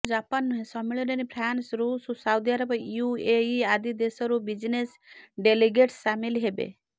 କେବଳ ଜାପାନ ନୁହେଁ ସମ୍ମିଳନୀରେ ଫ୍ରାନ୍ସ ରୁଷ ସାଉଦିଆରବ ୟୁଏଇ ଆଦି ଦେଶରୁ ବିଜିନେସ ଡେଲିଗେଟ୍ସ ସାମିଲ ହେବେ